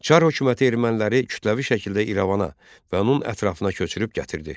Çar hökuməti erməniləri kütləvi şəkildə İrəvana və onun ətrafına köçürüb gətirdi.